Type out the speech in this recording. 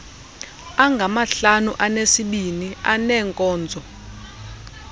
angamahlanu anesibini aneenkonzo